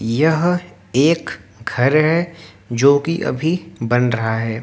यह एक घर है जोकि अभी बन रहा है।